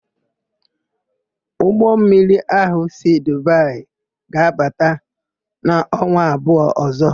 Ụgbọmmiri ahụ si Dubaị ga-abata n'ọnwa abụọ ọ̀zọ́.